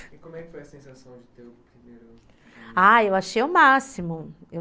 E como é que foi a sensação de ter o primeiro... Ah, eu achei o máximo, eu...